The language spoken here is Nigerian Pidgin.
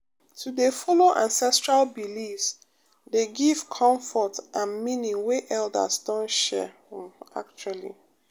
to dey follow ancestral beliefs dey give comfort and meaning wey elders don share um actually